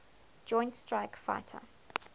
joint strike fighter